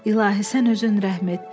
İlahi, sən özün rəhm et.